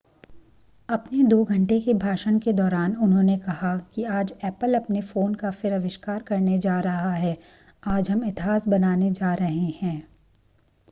अपने 2 घंटे के भाषण के दौरान उन्होंने कहा कि आज ऐपल अपने फ़ोन का फिर आविष्कार करने जा रहा है आज हम इतिहास बनाने जा रहे हैं